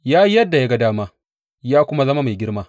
Ya yi yadda ya ga dama, ya kuma zama mai girma.